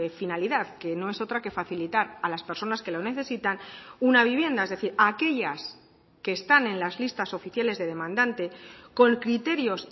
finalidad que no es otra que facilitar a las personas que lo necesitan una vivienda es decir a aquellas que están en las listas oficiales de demandante con criterios